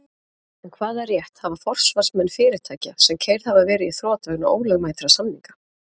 En hvaða rétt hafa forsvarsmenn fyrirtækja sem keyrð hafa verið í þrot vegna ólögmætra samninga?